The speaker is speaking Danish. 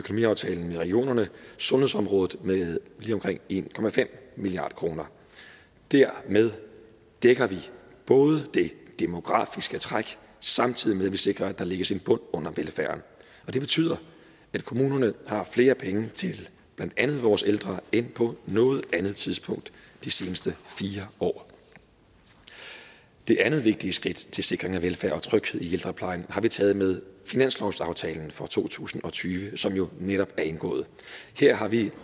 regionerne sundhedsområdet med lige omkring en milliard kroner dermed dækker vi det demografiske træk samtidig vi sikrer at der lægges en bund under velfærden det betyder at kommunerne har flere penge til blandt andet vores ældre end på noget andet tidspunkt de seneste fire år det andet vigtige skridt til sikring af velfærd og tryghed i ældreplejen har vi taget med finanslovsaftalen for to tusind og tyve som jo netop er indgået her har vi